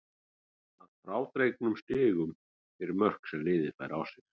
Að frádregnum stigum fyrir mörk sem liðið fær á sig.